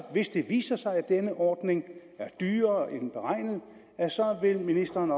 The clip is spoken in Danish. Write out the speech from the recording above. hvis det viser sig at denne ordning er dyrere end beregnet vil ministeren